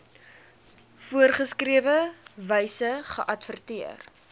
voorgeskrewe wyse geadverteer